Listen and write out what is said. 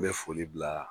N bɛ foli bila